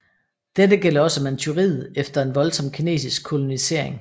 Dette gælder også Manchuriet efter en voldsom kinesisk kolonisering